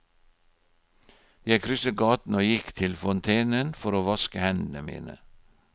Jeg krysset gaten og gikk til fontenen for å vaske hendene mine.